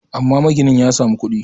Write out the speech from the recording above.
amma maginin ya samu kudi